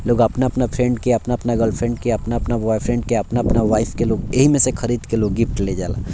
लोग अपना-अपना फ्रेंड के अपना-अपना गर्लफ्रेंड के अपना-अपना बॉयफ्रेंड अपना-अपना वाइफ के लोग येही में खरीद के लोग गिफ्ट ले जला।